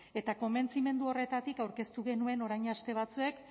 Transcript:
eta konbentzimendu horretatik aurkeztu genuen orain aste batzuk